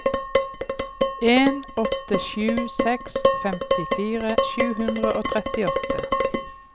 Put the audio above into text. en åtte sju seks femtifire sju hundre og trettiåtte